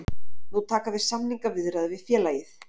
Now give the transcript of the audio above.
Nú taka við samningaviðræður við félagið